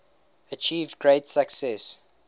achieved great success